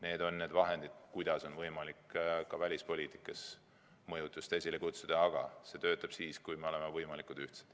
Need on need vahendid, mille abil on võimalik ka välispoliitikas mõju esile kutsuda, aga need töötavad ainult siis, kui me oleme võimalikud ühtsed.